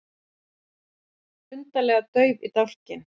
Undarlega dauf í dálkinn.